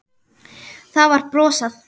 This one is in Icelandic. Það var brosað.